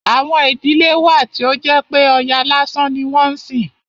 Àwọn ìdílé wà tí ó jẹ́ pé Ọya lásán ni wọ́n ń sìn.